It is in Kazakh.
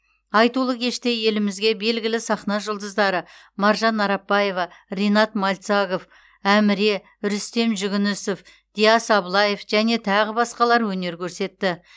айтулы кеште елімізге белгілі сахна жұлдыздары маржан арапбаева ринат мальцагов әміре рүстем жүгінісов диас аблаев және тағы басқалар өнер көрсетті